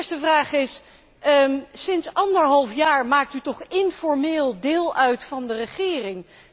De eerste vraag is sinds anderhalf jaar maakt u toch informeel deel uit van de regering.